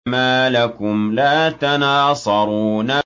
مَا لَكُمْ لَا تَنَاصَرُونَ